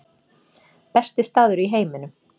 Besti staður í heiminum